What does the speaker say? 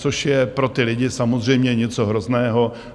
Což je pro ty lidi samozřejmě něco hrozného.